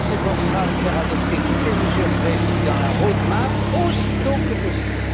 Commission s'efforcera de faire adopter toutes les mesures prévues dans la roadmap aussi tôt que possible.